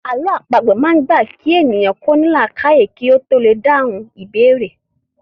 Àlọ́ àpagbè máa ń gba kí èèyàn ó ní làákàyè kí ó tó lè dáhùn ìbéèrè